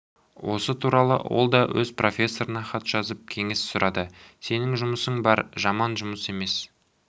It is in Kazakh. осы туралы ол да өз профессорына хат жазып кеңес сұрады сенің жұмысың бар жаман жұмыс емес